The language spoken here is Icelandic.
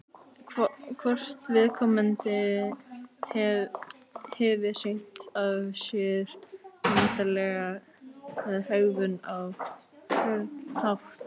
Hvort viðkomandi hefði sýnt af sér undarlega hegðun á einhvern hátt?